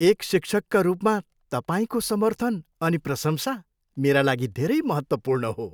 एक शिक्षकका रूपमा तपाईँको समर्थन अनि प्रशंसा मेरा लागि धेरै महत्त्वपूर्ण हो।